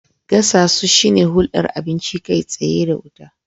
Gasasu shine hulɗar abinci kai tsaye da wuta.